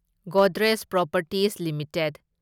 Godrej properties limited